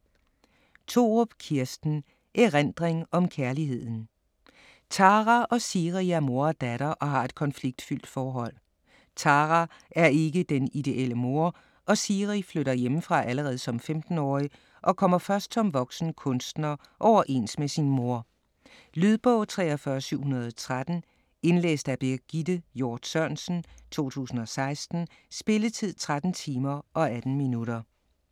Thorup, Kirsten: Erindring om kærligheden Tara og Siri er mor og datter og har et konfliktfyldt forhold. Tara er ikke den ideelle mor, og Siri flytter hjemmefra allerede som 15-årig og kommer først som voksen kunstner overens med sin mor. Lydbog 43713 Indlæst af Birgitte Hjort Sørensen, 2016. Spilletid: 13 timer, 18 minutter.